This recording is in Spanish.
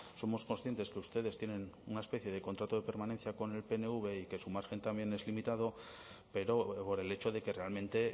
somos conscientes que ustedes tienen una especie de contrato de permanencia con el pnv y que su margen también es limitado pero por el hecho de que realmente